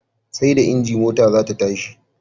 Seda inji mota zata tashi